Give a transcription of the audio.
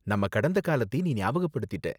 நம்ம கடந்த காலத்தை நீ ஞாபகபடுத்திட்ட.